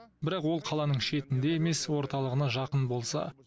бірақ ол қаланың шетінде емес орталығына жақын болса